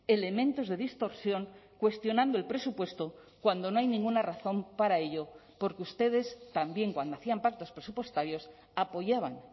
elementos de distorsión cuestionando el presupuesto cuando no hay ninguna razón para ello porque ustedes también cuando hacían pactos presupuestarios apoyaban